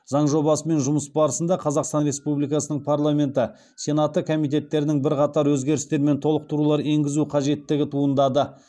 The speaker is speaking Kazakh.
заң жобасымен жұмыс барысында қазақстан республикасының парламенті сенаты комитеттерінің бірқатар өзгерістер мен толықтырулар енгізу қажеттігі туындады